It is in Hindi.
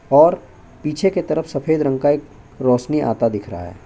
और पीछे की तरफ सफेद रंग एक रौशनी आता दिख रहा है।